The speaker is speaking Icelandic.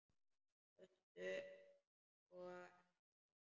Föstu og ekki föstu.